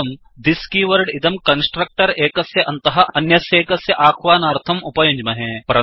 वयं thisदिस् कीवर्ड् इदं कन्स्ट्रक्टर् एकस्य अन्तः अन्यस्यैकस्य अह्वानार्थं उपयुञ्ज्महे